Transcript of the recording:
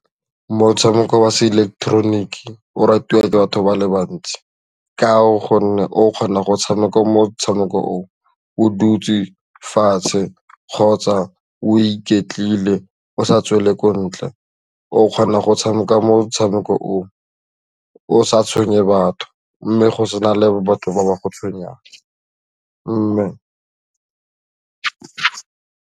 Motshameko wa seileketeroniki o ratiwa ke batho ba le bantsi ka gonne o kgona go tshameka motshameko o o dutse fatshe kgotsa o iketlile o sa tswele ko ntle, o kgona go tshameka motshameko o o sa tshwenye batho mme go se na le batho ba ba go tshwenyang mme.